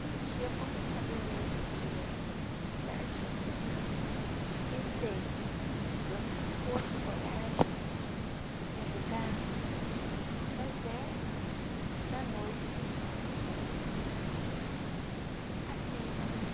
E um dia, quando eu sabia mesmo que eu ia precisar de internar, rezei para Deus me dar força e coragem, me ajudar, das dez da noite às seis da manhã.